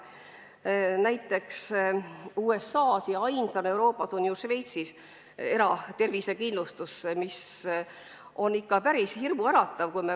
Näiteks USA-s ja Euroopas ainsana Šveitsis on eratervisekindlustus, mis on ikka päris hirmuäratav.